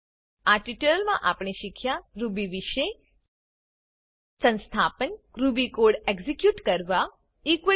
આ ટ્યુટોરીયલમાં આપણે શીખ્યા રૂબી વિષે સંસ્થાપન રૂબી કોડ એક્ઝીક્યુટ કરવો